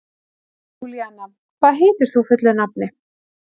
Júlíanna, hvað heitir þú fullu nafni?